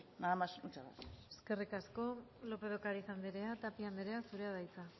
nada más muchas gracias eskerrik asko lópez de ocariz andrea tapia andrea zurea da hitza